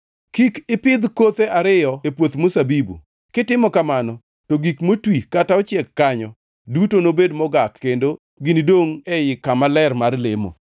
Kik ipidh kothe ariyo e puoth mzabibu, kitimo kamano, to gik motwi kata ochiek kanyo duto nobed mogak kendo ginidongʼ ei kama ler mar lemo.